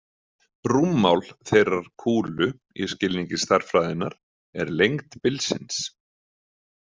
„Rúmmál“ þeirrar „kúlu“ í skilningi stærðfræðinnar er lengd bilsins.